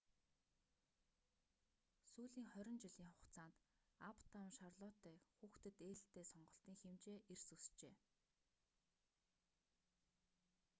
сүүлийн 20 жилийн хугацаанд аптаун шарлоттe хүүхдэд ээлтэй сонголтын хэмжээ эрс өсжээ